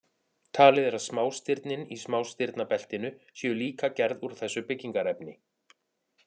Talið er að smástirnin í smástirnabeltinu séu líka gerð úr þessu byggingarefni.